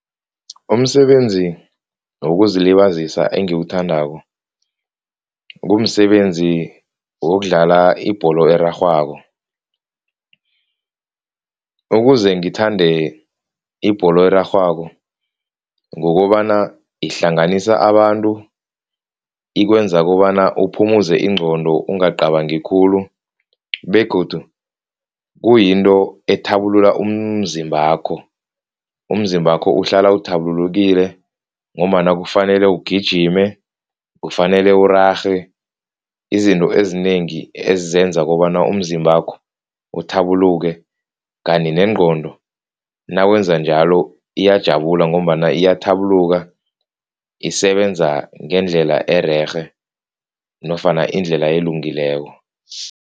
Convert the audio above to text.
Umsebenzi wokuzilibazisa engiwuthandako kumsebenzi wokudlala ibholo erarhwako. Ukuze ngithande ibholo erarhwako ngokobana ihlanganisa abantu ikwenza kobana uphumuze ingqondo ungacabangi khulu begodu kuyinto ethabulula umzimbakho, umzimbakho uhlala uthabulukile ngombana kufanele ugijime, kufanele urarhe izinto ezinengi ezenza kobana umzimbakho uthabuluke kanti nengqondo nawenza njalo iyajabula ngombana iyathabuluka, isebenza ngeendlela ererhe nofana indlela elungileko.